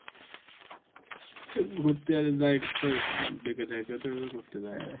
ঘুরতে যায় এখন এখানে তো ঘুরতে যায় ঘুরতে যায়